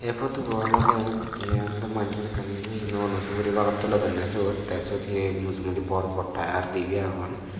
photobu olode eyan olode mannor ekkan he nuoo nuo suguri bagan tulodonne sot te sot he mujogeddi bor bor tyre dibi agon.